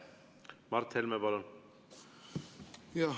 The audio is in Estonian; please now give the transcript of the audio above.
Mart Helme, palun!